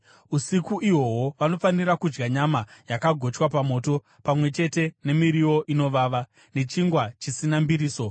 Usiku ihwohwo vanofanira kudya nyama yakagochwa pamoto, pamwe chete nemiriwo inovava, nechingwa chisina mbiriso.